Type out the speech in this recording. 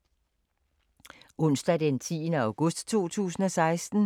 Onsdag d. 10. august 2016